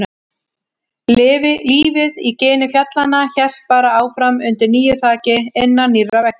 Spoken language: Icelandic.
Lífið í gini fjallanna hélt bara áfram undir nýju þaki, innan nýrra veggja.